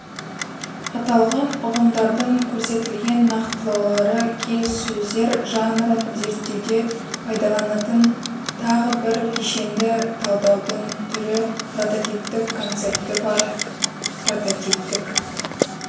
аталған ұғымдардың көрсетілген нақтылаулары келіссөздер жанрын зерттеуде пайдаланатын тағы бір кешенді талдаудың түрі прототиптік концепті бар прототиптік